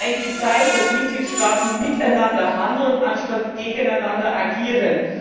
Es ist eigentlich die Zeit, dass Mitgliedstaaten miteinander handeln, anstatt gegeneinander zu agieren.